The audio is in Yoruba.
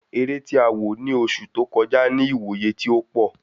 Eré tí a wò ni oṣù tó kọjá ni iwoye ti ó pọ